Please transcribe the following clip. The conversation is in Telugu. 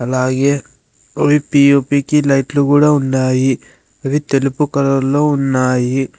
అలాగే పిఓపికి లైట్లు కూడా ఉన్నాయి అవి తెలుపు కలలో ఉన్నాయి.